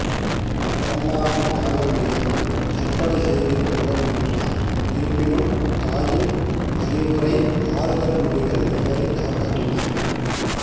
அவமானம் தாங்க முடியாமல் தற்கொலை செய்து கொள்ள முயன்றார் இருப்பினும் தாயின் அறிவுரை ஆறுதல் மொழிகள் இவரைக் காப்பாற்றின